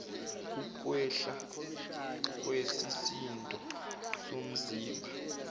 ukwehla kwesisindo somzimba